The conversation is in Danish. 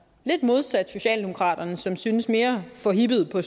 lidt modsat socialdemokraterne som synes mere forhippet på at